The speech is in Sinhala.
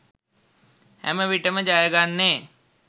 හැමවිටම ජයගන්නේ